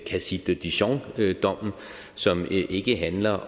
cassis de dijon dommen som ikke handler